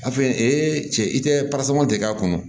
A fɛn cɛ i tɛ de k'a kɔnɔ